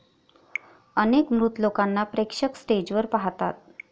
अनेक मृत लोकांना प्रेक्षक स्टेजवर पाहतात.